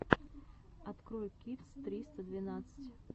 открой кидс триста двенадцать